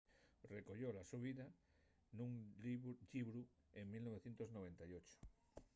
recoyó la so vida nun llibru en 1998